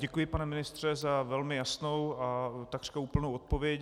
Děkuji, pane ministře, za velmi jasnou a takřka úplnou odpověď.